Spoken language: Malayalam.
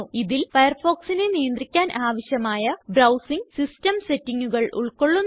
ഇതിൽ Firefoxനെ നിയന്ത്രിക്കാൻ ആവശ്യമായ ബ്രൌസിംഗ് സിസ്റ്റം settingകൾ ഉൾകൊള്ളുന്നു